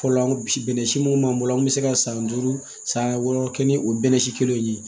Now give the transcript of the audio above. Fɔlɔ an bɛnnɛ si munnu b'an bolo an be se ka san duuru san wɔɔrɔ kɛ ni o bɛnɛsi kelen in ye